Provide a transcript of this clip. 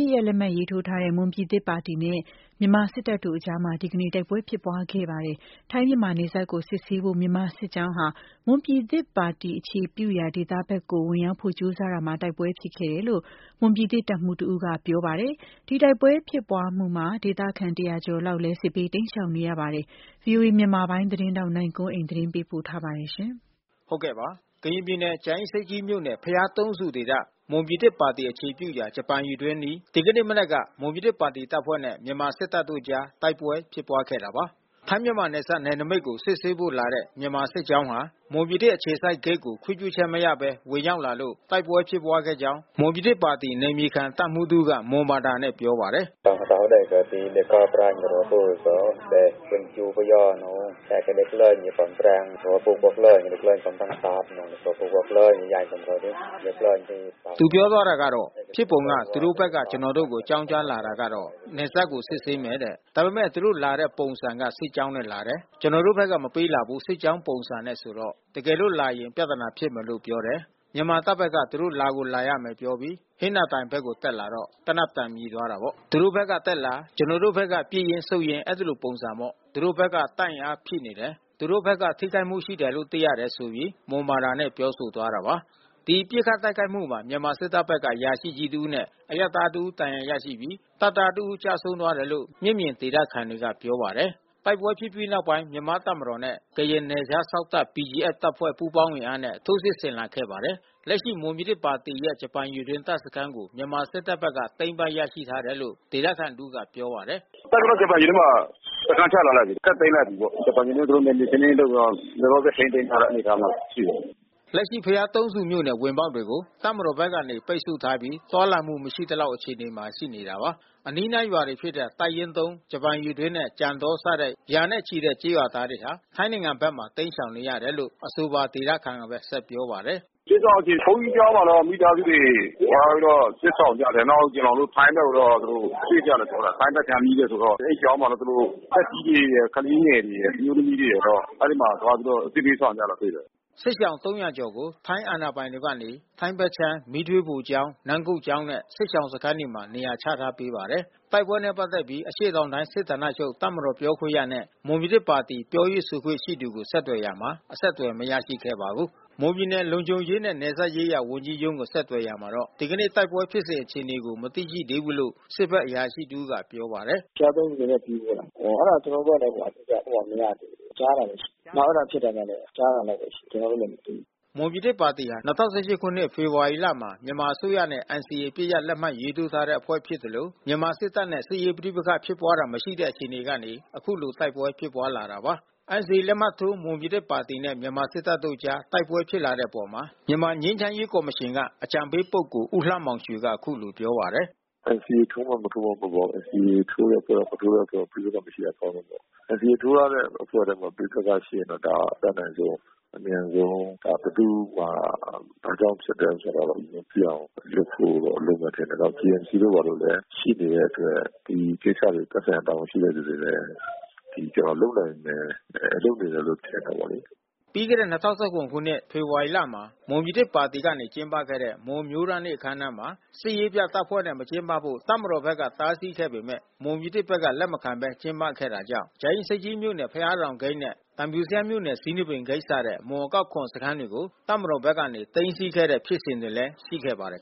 စ်ရပ်လက်မှတ်ရေးထိုးထားတဲ့ မွန်ပြည်သစ်ပါတီနဲ့ မြန်မာစစ်တပ်တို့အကြား ဒီကနေ့မှာ တိုက်ပွဲဖြစ်ပွားခဲ့ပါတယ်။ ထိုင်း- မြန်မာနယ်စပ် ကိုစစ်ဆေးဖို့ မြန်မာစစ်ကြောင်းဟာ မွန်ပြည်သစ် အခြေပြုရာဒေသဘက်ကို ဝင်ရောက်ဖို့ကြိုးစားရာမှာ တိုက်ပွဲဖြစ်ပွားခဲ့တယ်လို့ မွန်ပြည်သစ်တပ်မှူး တဦးက ပြောပါတယ်။ ဒီတိုက်ပွဲဖြစ်ပွားမှုကြောင့် ဒေသခံ (၃၂၀) ကျော် အိမ်နီး ချင်းထိုင်းနိုင်ငံထဲကို ထွက်ပြေးတိမ်းရှောင်နေရပါတယ်။ဗွီအိုအေ မြန်မာပိုင်းသတင်းထောက် နိုင်ကွန်းအိန်ကနေ သတင်းပို့ထားပါတယ်။ ကရင်ပြည်နယ်ကြာအင်းဆိပ်ကြီးမြို့နယ် ဘုရားသုံးဆူဒေသ မွန်ပြည်သစ်ပါတီ အခြေပြုရာ ဂျပန်ရေတွင်းအနီး ဒီကနေ့ မနက်က မွန်ပြည်သစ်ပါတီတပ်ဖွဲ့နဲ့ မြန်မာစစ်တပ်တို့အကြား တိုက်ပွဲဖြစ်ပွား ခဲ့တာပါ။ ထိုင်းမြန်မာနယ်စပ် နယ်နမိတ်ကိုစစ်ဆေးဖို့လာတဲ့ မြန်မာစစ်ကြောင်းဟာ မွန်ပြည်သစ် အခြေစိုက်ဂိတ်ကို ခွင့်ပြုချက် မရဘဲ ဝင်ရောက်လာလို့တိုက်ပွဲဖြစ်ခဲ့ကြောင်း မွန်ပြည်သစ်ပါတီ နယ်မြေခံတပ်မှူးတဦးက မွန်ဘာသာနဲ့ပြောပါတယ်။ “ဖြစ်ပုံက သူတို့ဘက်ကကျွန်တော်တို့ကိုအကြောင်းကြားလာတာက နယ်စပ်ကိုစစ်ဆေးမယ်တဲ့။ ဒါပေမဲ့သူတို့လာတဲ့ ပုံစံက စစ်ကြောင်းနဲ့လာတယ်။ ကျွန်တော်တို့ဘက်က မပေးလာဘူး စစ်ကြောင်းပုံစံနဲ့ဆိုတော့။ တကယ်လို့လာရင် ပြဿနာဖြစ်မယ်လို့ပြောတယ်။ မြန်မာတပ်ဘက်က သူတို့လာကိုလာရမယ်လို့ပြောပြီး ဟင်္သာတိုင်ဘက်ကိုတက်လာတော့ သေနတ်သံမြည် သွားတာပေါ့။ သူတို့ဖက်ကတက်လာ ကျွန်တော်တို့ဖက်က ပစ်ရင်းဆုတ်ရင်း အဲဒီလိုပုံစံပေါ့။ သူတို့ ဘက်က တပ်အင်အားဖြည့်နေတယ်။ သူတို့ဘက်က ထိခိုက်မှုရှိတယ်လို့ သိရတယ်။” ဒီပစ်ခတ်တိုက်ခိုက်မှုမှာမြန်မာစစ်တပ်ဖက်က အရာရှိကြီးတဦးနဲ့ အရပ်သားတဦးဒဏ်ရာရရှိပြီး တပ်သားတဦး ကျဆုံး သွားတယ်လို့ မျက်မြင်ဒေသခံတွေကပြောပါတယ်။ တိုက်ပွဲဖြစ်ပြီး နောက်ပိုင်း မြန်မာတပ်မတော်နဲ့ ကရင်နယ်ခြားစောင့်တပ် PGF တပ်ဖွဲ့ ပူးပေါင်းအင်အား နဲ့ ထိုးစစ်ဆင်လာ ခဲ့ပါတယ်။ လက်ရှိမွန်ပြည်သစ်ပါတီရဲ့ ဂျပန်ရေတွင်းတပ်စခန်းကို မြန်မာစစ်တပ်ဘက်က သိမ်းပိုက်ရရှိ ထားတယ် လို့ ဒေသခံတဦး ကပြောပါတယ်။ “လက်ရှိအနေအထားတော့ တပ်ကတော့ဂျပန်ရေတွင်းမှာ စခန်းချထားလိုက်ပြီး။ တပ်သိမ်း လိုက်ပြီပေါ့။ ဂျပန်ရေတွင်းကို နယ်မြေရှင်းလင်းရေးလုပ်တော့ လောလောဆယ် ထိန်းသိမ်းထားတဲ့ အနေအထားမှာရှိတယ်။” လက်ရှိဘုရားသုံးဆူမြို့နယ် ဝင်ပေါက်တွေကိုတပ်မတော်ကနေ ပိတ်ဆို့ထားပြီး သွားလာမှု မရှိသလောက် အခြေအနေ မှာ ရှိနေတာပါ။ အနီးနားရွာတွေဖြစ်တဲ့ တပ်ရင်း(၃) ဂျပန်ရေတွင်းနဲ့ကြံတောစတဲ့ ရာနဲ့ချီတဲ့ကျေးရွာသားတွေဟာ ထိုင်းနိင်ငံဖက်ခြမ်းမှာ တိမ်းရှောင်နေကြရတယ်လို့ အဆိုပါဒေသခံက ဆက်ပြောပါတယ်။ “စစ်ရှောင်အခြေအနေကတော့ ဘုန်းကြီးကျောင်းမှာတော့ မိသားစုတွေ သွားပြီးတော့ စစ်ရှောင်ကြတယ်။ နောက်ကျွန်တော် တို့ ထိုင်းဖက်ကိုတော့ ရွှေ့ကြတယ်လို့ပြောတယ်။ ထိုင်းဘက်ကမ်း နီးတယ်ဆိုတော့ အဲဒီကျောင်းမှာသူတို့ သက်ကြီးတွေရယ် ၊ ကလေးငယ်တွေရယ်၊ အမျိုးသမီးတွေရယ်တော့ အဲဒီမှာသွားပြီးတော့ စစ်ဘေးရှောင်နေတာတွေ့တယ်။” စစ်ရှောင်(၃၀၀)ကျော်ကို ထိုင်းအာဏာပိုင်တွေကနေ ထိုင်းဖက်ခြမ်း မီးသွေးဖိုကျောင်း နမ်းကုတ်ကျောင်းနဲ့ စစ်ရှောင် စခန်းတွေမှာ နေရာချထားပေးထားပါတယ်။ တိုက်ပွဲနဲ့ ပတ်သက်ပြီး အရှေ့တောင်တိုင်းစစ်ဌာနချုပ် တပ်မတော်ပြောခွင့်ရနဲ့ မွန်ပြည်သစ်ပါတီ ပြောရေးဆိုခွင့် ကိုဆက်သွယ်ရာမှာ အဆက်သွယ်မရရှိခဲ့ပါဘူး။ မွန်ပြည်နယ်လုံခြုံရေးနဲ့ နယ်စပ်ရေးရာဝန်ကြီးရုံးကိုဆက်သွယ်ရာမှာတော့ ဒီကနေ့ တိုက်ပွဲဖြစ်စဉ် အခြေအနေကို မသိရှိသေးဘူးလို့ စစ်ဘက်အရာရှိတဦးကပြောပါတယ်။ “ဘုရားသုံးဆူဘက်က စစ်ရေးလား။ အဲတာကျွန်တော်တို့ဘက်ကလဲ အတိအကျမရသေးဘူး။ ကြားတာဘဲရှိတယ်။ နောက်အဲတာဖြစ်တာကလဲ ကြားတာလောက်ဘဲရှိတယ်။ ကျွန်တော်တို့လဲ မသိဘူး။” မွန်ပြည်သစ်ပါတီဟာ(၂၀၁၈)ခုနှစ်ဖေဖေါ်ဝါရီလမှာ မြန်မာအစိုးရနဲ့ NCA အပစ်ရပ် လက်မှတ်ရေးထိုးထားတဲ့ အဖွဲ့ဖြစ် သလို မြန်မာစစ်တပ်နဲ့ စစ်ရေး ပဋိပက္ခဖြစ်ပွားတာ မရှိခဲ့တဲ့အခြေကနေ အခုလိုတိုက်ပွဲဖြစ်ပွားလာတာပါ။ NCA လက်မှတ်ထိုး မွန်ပြည်သစ်ပါတီနဲ့ မြန်မာစစ်တပ်တို့အကြား တိုက်ပွဲဖြစ်လာတဲ့ အပေါ် မြန်မာ ငြိမ်းချမ်းရေး ကော်မရှင် က အကြံပေးပုဂ္ဂိုလ် ဦးလှမောင်ရွှေက အခုလိုပြောပါတယ်။ “NCAထိုးမှ မထိုးမှ မဟုတ်ပါဘူး။ NCAထိုးတဲ့အဖွဲ့ရော မထိုးတဲ့အဖွဲ့ရော ပဋိပက္ခမရှိတာ အကောင်းဆုံးပေါ့။ NCAထိုးထား တဲ့ အဖွဲ့ထဲမှာ ပဋိပက္ခဖြစ်ရင်တော့ ဒါအတတ်နိုင်ဆုံး အမြန်ဆုံး ဘယ်သူ့မှာ ဘာကြောင့်ဖြစ်တယ် ဆိုတာတော့ သိရ အောင် အလျှင်စလိုတော့လိုမယ်ထင်တယ်။ ဒါ JMCတို့ ၊ ဘာတို့လဲရှိနေတဲ့အတွက် ဒီကိစ္စ သက်ဆိုင်ရာတာဝန်ရှိ သူတွေလဲ လုပ်နိုင်တယ်လို့ထင်တယ်လေ။ ” ပြီးခဲ့တဲ့(၂၀၁၇)ခုနှစ် ဖေဖေါ်ဝါရီလမှာ မွန်ပြည်သစ်ပါတီကနေ ကျင်းပခဲ့တဲ့ မွန်အမျိုးသားနေ့ အခမ်းအနားမှာ စစ်ရေး ပြတပ်ဖွဲ့နဲ့ မကျင်းပဖို့တပ်မတော်က တားဆီးခဲ့ပေမဲ့ မွန်ပြည်သစ်ဘက် ကလက်မခံဘဲ ကျင်းပခဲ့တာကြောင့် ကြာအင်း ဆိပ်ကြီးမြို့နယ် ဘုရားတောင်ဂိတ်၊ သံဖြူဇရပ်မြို့နယ်ဇီးနှစ်ပင်ဂိတ်စတဲ့ မွန်အကောက် ခွန်ဂိတ်စခန်း တွေကို တပ်မ တော်ဘက်က သိမ်းဆီးခဲ့တဲ့ ဖြစ်စဉ်တွေလဲ ရှိခဲ့ပါတယ်